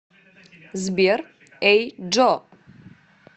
сбер эй джо